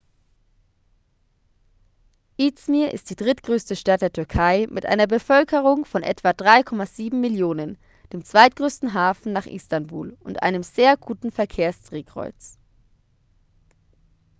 izmir ist die drittgrößte stadt der türkei mit einer bevölkerung von etwa 3,7 millionen dem zweitgrößten hafen nach istanbul und einem sehr guten verkehrsdrehkreuz